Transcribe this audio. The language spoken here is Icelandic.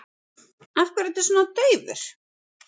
Af hverju ertu svona daufur?